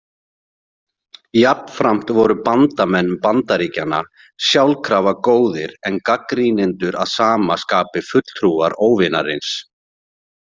Jafnframt voru bandamenn Bandaríkjanna sjálkrafa góðir en gagnrýnendur að sama skapi fulltrúar óvinarins.